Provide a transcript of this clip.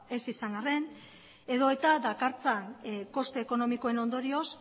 ez izan arren edota dakartzan koste ekonomikoen ondorioz